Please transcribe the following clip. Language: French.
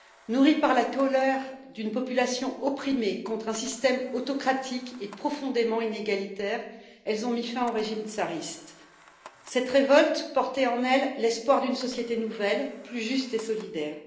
Nourries par la colère d'une population opprimée contre un système autocratique et profondément inégalitaire, elles ont mis fin au régime tsariste. Cette révolte portait en elle l'espoir d'une société nouvelle, plus juste et solidaire.